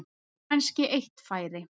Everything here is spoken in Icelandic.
Kannski eitt færi.